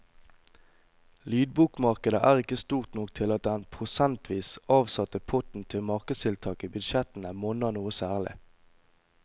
Lydbokmarkedet er ikke stort nok til at den prosentvis avsatte potten til markedstiltak i budsjettene monner noe særlig.